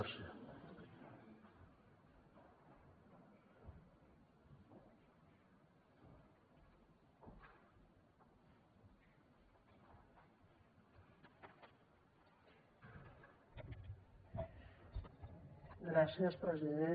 gràcies president